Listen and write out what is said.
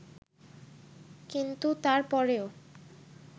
কিন্তু তার পরেও